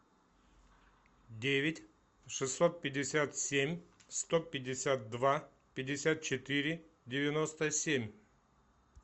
девять шестьсот пятьдесят семь сто пятьдесят два пятьдесят четыре девяносто семь